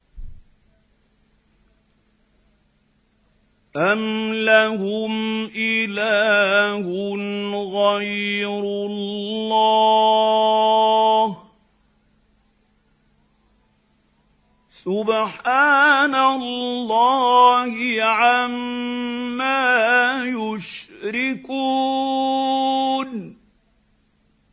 أَمْ لَهُمْ إِلَٰهٌ غَيْرُ اللَّهِ ۚ سُبْحَانَ اللَّهِ عَمَّا يُشْرِكُونَ